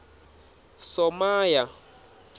somaya